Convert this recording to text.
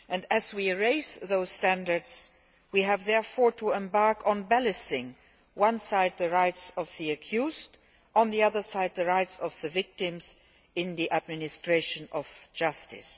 As we raise those standards, we have to embark on balancing on one side the rights of the accused and, on the other side, the rights of the victims in the administration of justice.